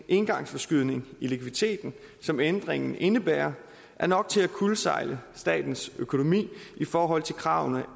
engangsforskydning i likviditeten som ændringen indebærer er nok til at kuldsejle statens økonomi i forhold til kravene